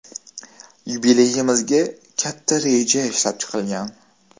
Yubileyimizga katta reja ishlab chiqilgan.